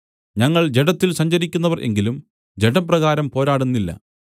ഞങ്ങൾ ജഡത്തിൽ സഞ്ചരിക്കുന്നവർ എങ്കിലും ജഡപ്രകാരം പോരാടുന്നില്ല